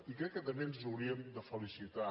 i crec que també ens hauríem de felicitar